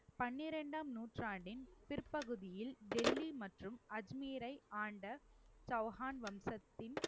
பன்னிரண்டாம் நூற்றாண்டின் பிற்பகுதியில் டெல்லி மற்றும் அஜ்மீரை ஆண்ட சௌகான் வம்சத்தின்